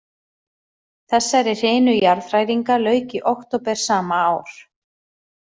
Þessari hrinu jarðhræringa lauk í október sama ár.